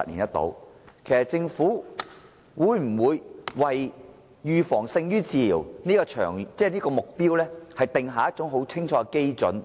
就此，我想問的是，政府會否為"預防勝於治療"這個目標訂下清楚基準，